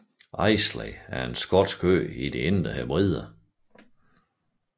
Islay er en skotsk ø i de Indre Hebrider